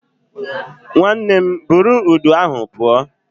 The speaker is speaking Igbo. Nwanne buru udu ahụ pụọ